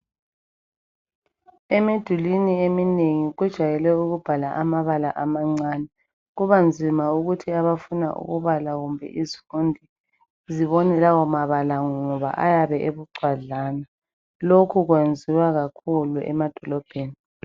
Emidulwini eminenhi kujwayele ukuba lamabala amancane . Kubanzima ukuthi abafuna ukubala kumbe izifundi zibone lawo mabala ngoba ayabe ebucwadlana. Lokhu kwenziwa kakhulu emadolobheni.